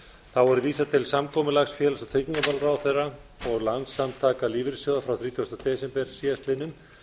þá er vísað til samkomulags félags og tryggingamálaráðherra og landssamtaka lífeyrissjóða frá þrítugasti desember síðastliðnum